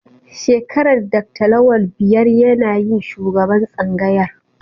Shekarar Dr. Lawan biyar yana yin shugaban tsangayar